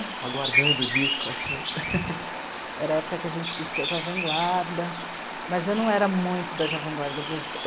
aguardando o disco assim. Era a época em que a gente assistia Jovem Guarda, mas eu não era muito da Jovem Guarda.